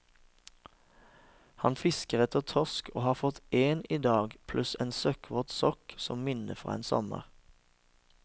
Han fisker etter torsk og har fått én i dag, pluss en søkkvåt sokk som minne fra en sommer.